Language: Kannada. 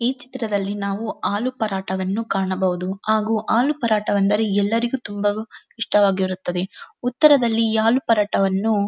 ಈ ಚಿತ್ರದಲ್ಲಿ ನಾವು ಆಲೂಪರಾಟಾವನ್ನು ಕಾಣಬಹುದು ಆಗು ಆಲೂಪರಾಟವೆಂದರೆ ಎಲ್ಲರಿಗು ತುಂಬವು ಇಷ್ಟವಾಗಿರುತ್ತದೆ ಉತ್ತರದಲ್ಲಿ ಈ ಆಲುಪರಾಟಾವನ್ನು --